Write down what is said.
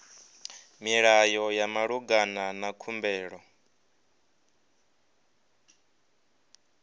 milayo ya malugana na khumbelo